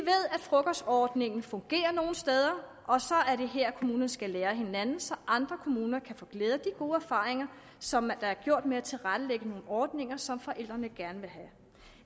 frokostordningen fungerer nogle steder og så er det her kommunerne skal lære af hinanden så andre kommuner kan få glæde af gode erfaringer som der er gjort med at tilrettelægge nogle ordninger som forældrene gerne vil have